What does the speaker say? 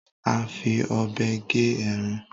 A fí òbé gé ẹran